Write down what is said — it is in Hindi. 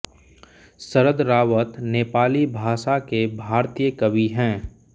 शरद रावत नेपाली भाषा के भारतीय कवि हैं